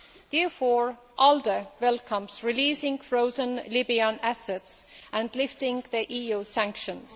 Therefore, ALDE welcomes releasing frozen Libyan assets and lifting the EU sanctions.